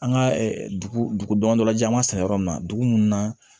An ka dugudaman dɔ la ji an ma san yɔrɔ min na dugu mun na